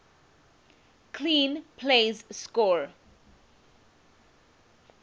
clean plays score